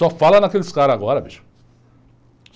Só fala naqueles caras agora, bicho.